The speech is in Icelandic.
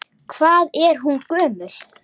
Hvað er hún gömul?